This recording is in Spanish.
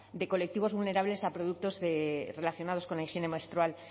de colectivos vulnerables a productos relacionados con la higiene menstrual